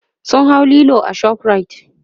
sun hau Lilo a shoprite